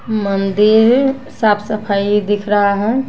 मंदिर साफ सफाई दिख रहा है।